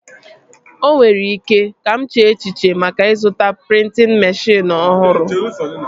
O nwere ike, aga m eche echiche maka ịzụta prịntịn meshịn ọhụrụ